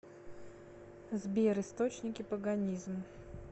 сбер источники паганизм